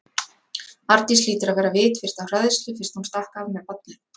Arndís hlýtur að vera vitfirrt af hræðslu fyrst hún stakk af með barnið.